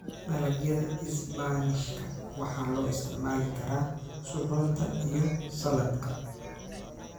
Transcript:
Dalagyada isbaanishka waxaa loo isticmaali karaa suxuunta iyo saladhka.